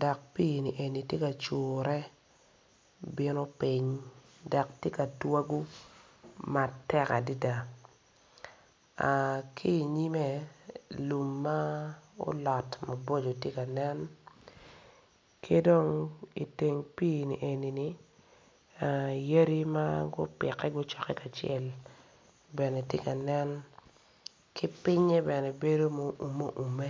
dok pii ni eni tye ka cure bino piny dok tye katwago matek adada ki nyime lum ma olot maboco tye kanen kidong iteng pii ni eni ni yadi ma gupike gucoke kacel bene tye kanen ki pinye bene bedo ma oume oume.